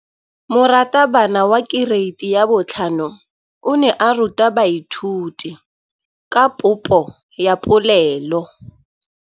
Moratabana wa kereiti ya 5 o ne a ruta baithuti ka popô ya polelô.